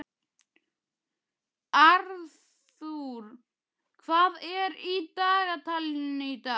Arthur, hvað er í dagatalinu í dag?